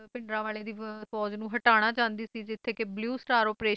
ਭਿੰਡਰਾਂਵਾਲੇ ਦੀ ਫੌਜ਼ ਨੂੰ ਹਟਾਉਣਾ ਚਾਹੰਦੀ ਸੀ ਜਿੱਥੇ ਕਿ ਬਲਿਊ ਸਟਾਰ ਅਪ੍ਰੇਸ਼ਨ ਚਲਾਇਆ